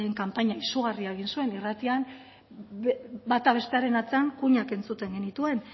kanpaina izugarri bat egin zuen irratian bata bestearen atzean kuinak entzuten genituen